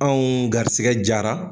Anw garisɛgɛ jara